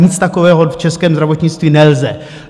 Nic takového v českém zdravotnictví nelze.